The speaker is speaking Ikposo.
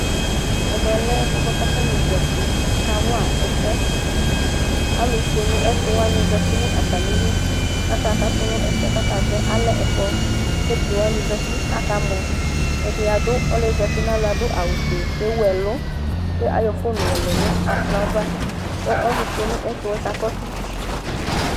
Ɛmɛ lɛ ɛfʋɛ bʋa k'atanɩ zati:akawa ɛsɛ Alʋ fue nʋ ɛtʋwanɩ zati nʋ atamili k'aka katʋ n'ɛsɛɛ k'akazɔ Alɛ ɛkplɔ k'evidzewanɩ zati , akamɔ Ɛdɩ adʋ ɔlʋɩɛ zati n'alɔɛ adʋ awufue k'ewuɛlʋ , ke ayɔ fon yɔlɛ nʋ ɛkplɔ ava k'ɔ ɔlʋfue nʋ ɛtʋɛ kakɔsʋ